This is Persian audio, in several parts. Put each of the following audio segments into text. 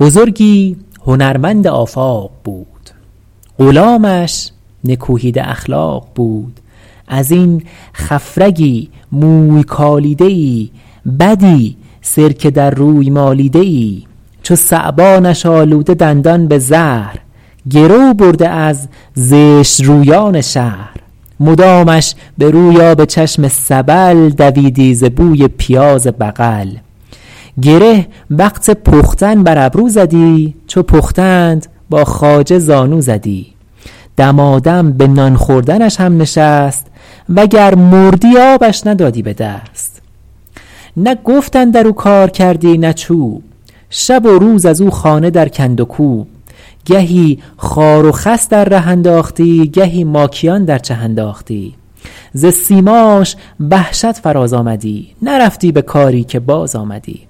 بزرگی هنرمند آفاق بود غلامش نکوهیده اخلاق بود از این خفرگی موی کالیده ای بدی سرکه در روی مالیده ای چو ثعبانش آلوده دندان به زهر گرو برده از زشت رویان شهر مدامش به روی آب چشم سبل دویدی ز بوی پیاز بغل گره وقت پختن بر ابرو زدی چو پختند با خواجه زانو زدی دمادم به نان خوردنش هم نشست و گر مردی آبش ندادی به دست نه گفت اندر او کار کردی نه چوب شب و روز از او خانه در کند و کوب گهی خار و خس در ره انداختی گهی ماکیان در چه انداختی ز سیماش وحشت فراز آمدی نرفتی به کاری که باز آمدی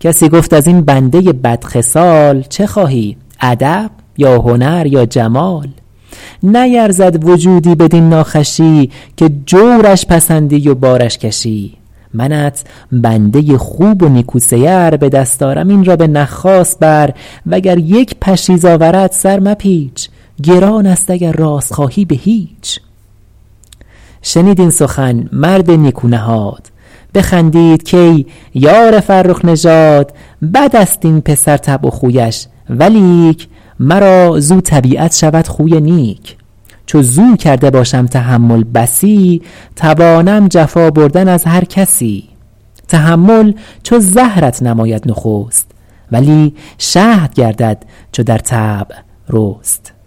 کسی گفت از این بنده بد خصال چه خواهی ادب یا هنر یا جمال نیرزد وجودی بدین ناخوشی که جورش پسندی و بارش کشی منت بنده خوب و نیکو سیر به دست آرم این را به نخاس بر و گر یک پشیز آورد سر مپیچ گران است اگر راست خواهی به هیچ شنید این سخن مرد نیکو نهاد بخندید کای یار فرخ نژاد بد است این پسر طبع و خویش ولیک مرا زاو طبیعت شود خوی نیک چو زاو کرده باشم تحمل بسی توانم جفا بردن از هر کسی تحمل چو زهرت نماید نخست ولی شهد گردد چو در طبع رست